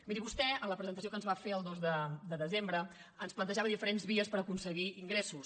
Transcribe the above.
miri vostè en la presentació que ens va fer el dos de desembre ens plantejava diferents vies per aconseguir ingressos